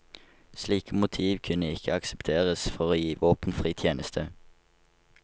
Slike motiv kunne ikke aksepteres for å gi våpenfri tjeneste.